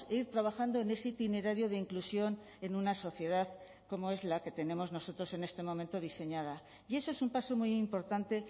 ir trabajando en ese itinerario de inclusión en una sociedad como es la que tenemos nosotros en este momento diseñada y eso es un paso muy importante